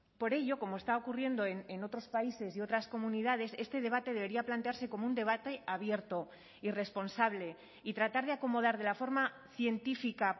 por ello como está ocurriendo en otros países y otras comunidades este debate debería plantearse como un debate abierto y responsable y tratar de acomodar de la forma científica